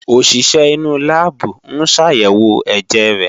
Òṣìṣẹ́ inú láàbù ń ṣàyẹ̀wò ẹ̀jẹ̀ rẹ̀